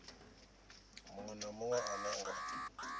munwe na munwe ane nga